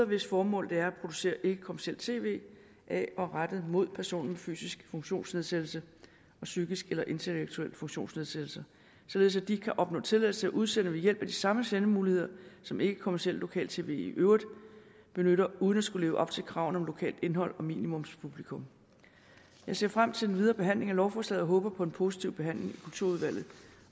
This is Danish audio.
hvis formål det er at producere ikkekommercielt tv af og rettet mod personer med fysisk funktionsnedsættelse og psykisk eller intellektuel funktionsnedsættelse således at de kan opnå tilladelse til at udsende ved hjælp af de samme sendemuligheder som ikkekommercielt lokal tv i øvrigt benytter uden at skulle leve op til kravene om lokalt indhold og minimumspublikum jeg ser frem til den videre behandling af lovforslaget og håber på en positiv behandling i kulturudvalget